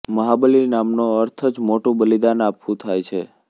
મહાબલિ નામનો અર્થ જ મોટું બલિદાન આપવું થાય છે